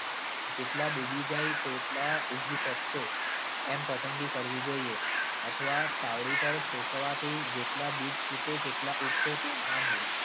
જેટલા ડૂબી જાય તેટલા ઊગી શકશે, એમ પસંદગી કરવી જોઈએ. અથવા તાવડી પર શેકવાથી જેટલા બીજ ફૂટે તેટલા ઉગશે તેમ માનવું.